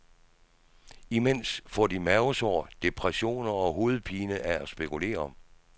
Imens får de mavesår, depressioner og hovedpine af at spekulere.